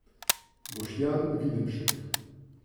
Boštjan Videmšek.